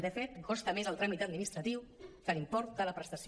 de fet costa més el tràmit administratiu que l’im·port de la prestació